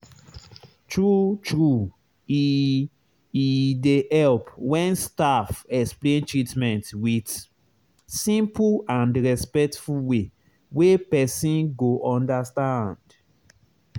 true true e e dey help when staff explain treatment with simple and respectful way wey person go understand.